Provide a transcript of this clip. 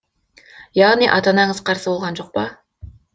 яғни ата анаңыз қарсы болған жоқ па